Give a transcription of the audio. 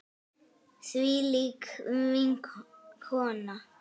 Þvílík kona.